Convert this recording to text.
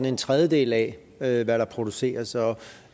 en tredjedel af hvad der produceres